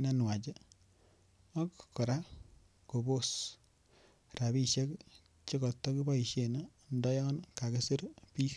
nenwachak kora kobos rabishek chekoto kiboishen ndo yoon kakisir biik.